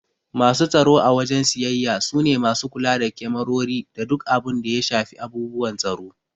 Masu tsaro a wajen siyayya su ne masu kula da kemarori da duk abun da ya shafi abubuwan tsaro.